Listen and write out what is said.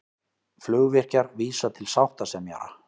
Flugvirkjar vísa til sáttasemjara